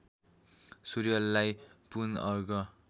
सूर्यलाई पुन अर्घ